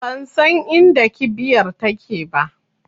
Bansan inda kibiyar take ba